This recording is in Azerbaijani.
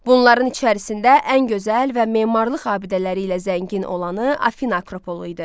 Bunların içərisində ən gözəl və memarlıq abidələri ilə zəngin olanı Afina akropolu idi.